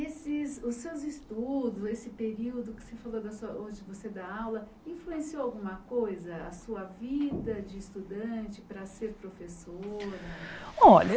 E se os seus estudos, esse período que você falou, onde você dá aula, influenciou alguma coisa a sua vida de estudante para ser professora? Olha